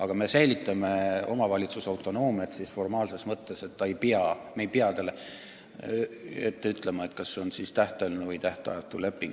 Samas jääb omavalitsuse autonoomia selles mõttes alles, et me ei ütle talle ette, kas direktoriga sõlmitakse tähtajaline või tähtajatu leping.